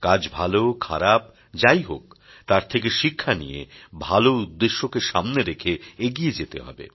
কাজ ভালো খারাপ যাই হোক তার থেকে শিক্ষা নিয়ে ভালো উদ্দেশ্যকে সামনে রেখে এগিয়ে যেতে হবে